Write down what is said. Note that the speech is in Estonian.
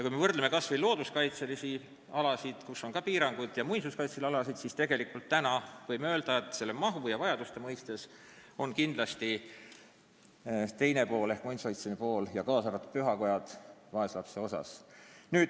Võrdleme kas või looduskaitsealasid, kus on ka piirangud, ja muinsuskaitse all olevaid ehitisi, siis võime öelda, et raha mahu ja vajaduste mõttes on muinsuskaitseline pool, kaasa arvatud pühakojad, kindlasti vaeslapse osas.